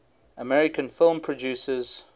american film producers